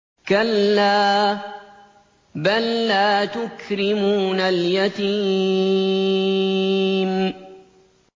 كَلَّا ۖ بَل لَّا تُكْرِمُونَ الْيَتِيمَ